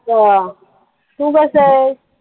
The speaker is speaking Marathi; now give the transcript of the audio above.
तू कसा आहेस